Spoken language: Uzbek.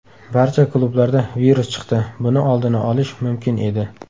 Barcha klublarda virus chiqdi, buni oldini olish mumkin edi.